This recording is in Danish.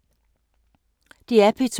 DR P2